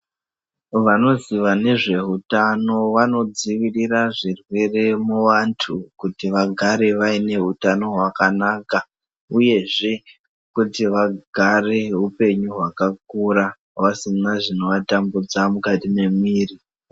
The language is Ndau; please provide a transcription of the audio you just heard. Vanoziva nezveutano vanodzivirira zvirwere muantu kuti vagare vaine hutano hwakanaka uyezve kuti vagare upenyu hwakakura vasina zvinovatambudza mukati mwemwiri.